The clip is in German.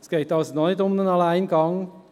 Es geht also nicht um einen Alleingang.